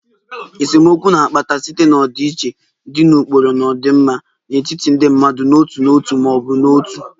Esemokwu na-akpata site na ọdịiche dị na ụkpụrụ na ọdịmma n'etiti ndị mmadụ n'otu n'otu ma ọ bụ otu